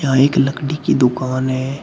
यहां एक लकड़ी की दुकान है।